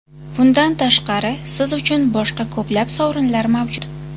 Bundan tashqari, siz uchun boshqa ko‘plab sovrinlar mavjud.